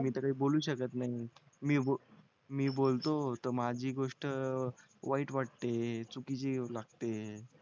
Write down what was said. मी तर काही बोलू शकत नाही मी मी बोलतो तर माझी गोष्ट वाईट वाटते चुकीची लागते